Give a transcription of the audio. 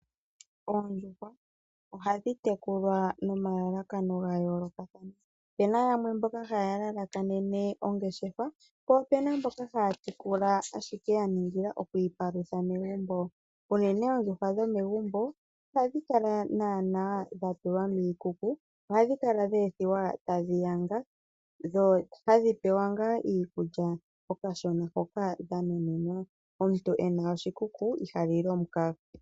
Oondjuhwa ohadhi tekulwa nomalalakano ga yoolokathana. Opu na yamwe mboka haya lalakanene ongeshefa, po opu na mboka haya tekula ashike ya ningila oku ipalutha megumbo. Unene oondjuhwa dhomegumbo ihadhi kala naanaa dha tulwa miikuku ohadhi kala dhe ethiwa tadhi yanga, dho haadhi pewa ngaa iikulya, okashona hoka dha nuninwa. Omuntu e na oshikuku iha lili omukaga.